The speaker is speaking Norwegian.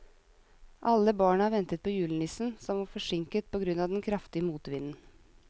Alle barna ventet på julenissen, som var forsinket på grunn av den kraftige motvinden.